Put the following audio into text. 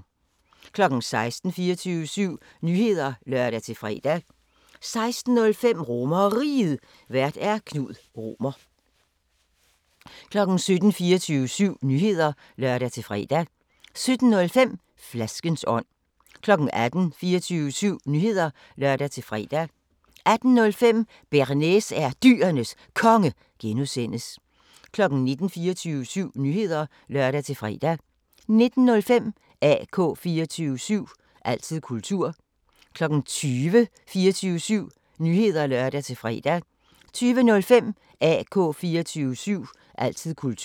16:00: 24syv Nyheder (lør-fre) 16:05: RomerRiget, Vært: Knud Romer 17:00: 24syv Nyheder (lør-fre) 17:05: Flaskens ånd 18:00: 24syv Nyheder (lør-fre) 18:05: Bearnaise er Dyrenes Konge (G) 19:00: 24syv Nyheder (lør-fre) 19:05: AK 24syv – altid kultur 20:00: 24syv Nyheder (lør-fre) 20:05: AK 24syv – altid kultur